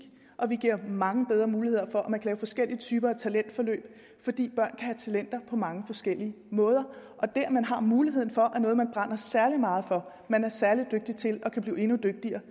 og vi giver mange bedre muligheder for at man kan lave forskellige typer af talentforløb fordi børn have talenter på mange forskellige måder og det at man har muligheden for noget man brænder særlig meget for man er særlig dygtig til og kan blive endnu dygtigere